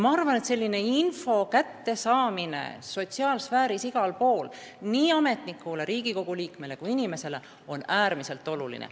Ma arvan, et selline info kättesaamine kogu sotsiaalsfääris – nii ametnikule, Riigikogu liikmele kui tavalisele inimesele – on äärmiselt oluline.